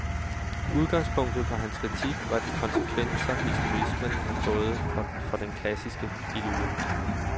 Udgangspunktet for hans kritik var de konsekvenser, historismen havde fået for den klassiske filologi.